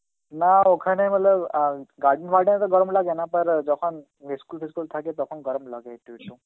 না ওখানে হলো garden বার্ডেন এ তো গরম লাগে না, Hindi যখন school টিস্কুল থাকে তখন গরম লাগে একটু একটু.